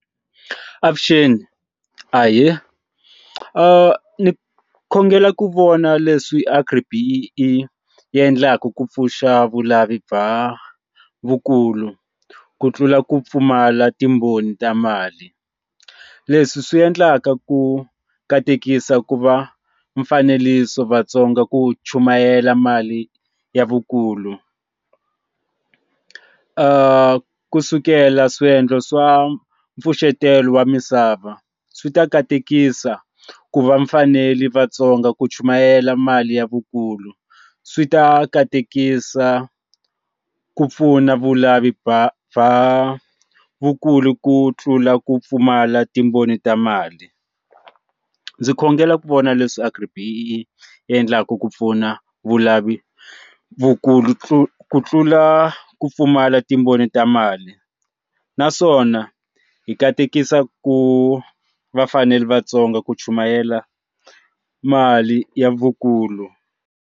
Avuxeni ahee ni khongela ku vona leswi Agri-B_E_E i endlaku ku pfuxa vulavuli bya vukulu ku tlula ku pfumala timbhoni ta mali leswi swi endlaka ku katekisa ku va mfanelo yisa vatsonga ku chumayela mali ya vukulu ka kusukela swiendlo swa pfuxetelo wa misava swi ta katekisa ku va mfanelo vatsonga ku chumayela mali ya vukulu swi ta katekisa ku pfuna vulavi bya bya vakulu ku tlula ku pfumala timbhoni ta mali ndzi khongela ku vona leswi Agri-B_E_E endlaku ku pfuna vulavuli vukulu ku tlula ku pfumala timbhoni ta mali naswona hi katekisa ku vafanele vatsonga ku chumayela mali ya vukulu.